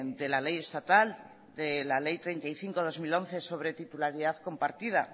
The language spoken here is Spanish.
de la ley estatal de la ley treinta y cinco barra dos mil once sobre titularidad compartida